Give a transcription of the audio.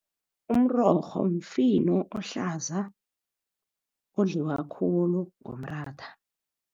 Umrorho mfino ohlaza, odliwa khulu ngomratha.